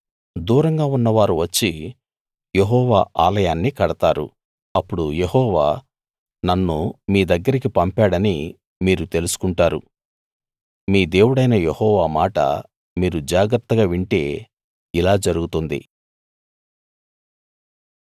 దూరంగా ఉన్నవారు వచ్చి యెహోవా ఆలయాన్ని కడతారు అప్పుడు యెహోవా నన్ను మీ దగ్గరికి పంపాడని మీరు తెలుసుకుంటారు మీ దేవుడైన యెహోవా మాట మీరు జాగ్రత్తగా వింటే ఇలా జరుగుతుంది